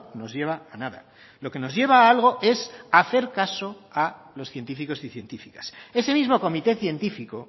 nos lleva a nada lo que nos lleva a algo es hacer caso a los científicos y científicas ese mismo comité científico